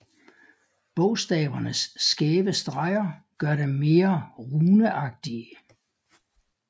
Bogstavernes skæve streger gør dem mere runeagtige